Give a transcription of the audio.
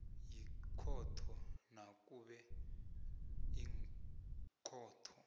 yikhotho nakube ikhotho